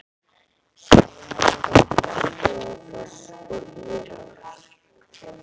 Seljalandsfoss, Skógafoss og Írárfoss.